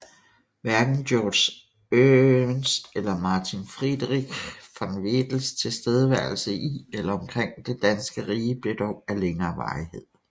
Hverken Georg Emst eller Martin Friedrich von Wedels tilstedeværelse i eller omkring det danske rige blev dog af længere varighed